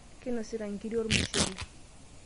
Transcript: Kainosita nkiri olnushele.